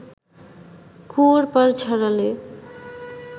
কুয়োর পাড় ছাড়ালে